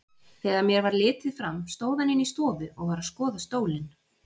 Þegar mér varð litið fram stóð hann inni í stofu og var að skoða stólinn.